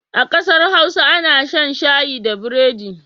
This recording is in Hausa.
A ƙasar Hausa ana shan shayi da burodi.